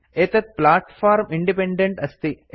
एतत् platform independent अस्ति